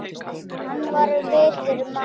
Hann var vitur maður.